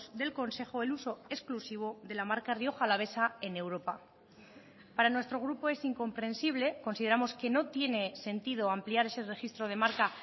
del consejo el uso exclusivo de la marca rioja alavesa en europa para nuestro grupo es incomprensible consideramos que no tiene sentido ampliar ese registro de marca